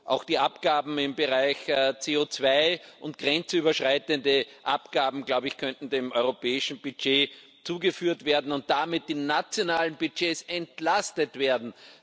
Auch die Abgaben im Bereich CO2 und grenzüberschreitende Abgaben könnten dem europäischen Budget zugeführt werden und damit die nationalen Budgets entlastet werden.